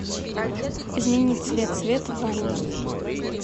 изменить цвет свет в ванной